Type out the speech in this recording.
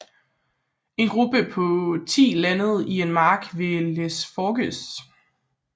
En gruppe på ti landede i en mark ved les Forges